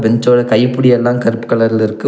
பெஞ்சோட கைப்புடி எல்லா கருப்பு கலர்ல இருக்கு.